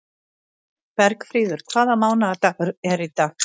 Bergfríður, hvaða mánaðardagur er í dag?